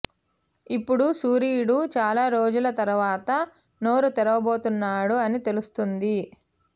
ఇప్పుడు సూరీడు చాలా రోజుల తరువాత నోరు తెరువబోతున్నాడు అని తెలుస్తోంది